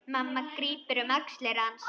Mamma grípur um axlir hans.